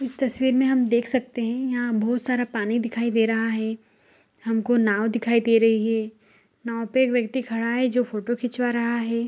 इस तस्वीर मे हम देख सकते हैं यहां बहुत सारा पानी दिखाई दे रहा है हमको नाव दिखाई दे रही हैं नाव पे एक व्यक्ति खड़ा है जो फोटो खिचवा रहा है।